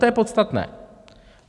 To je podstatné.